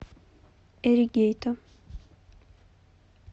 эригейто